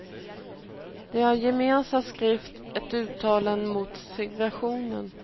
De har gemensamt skrivit ett uttalande mot segregationen.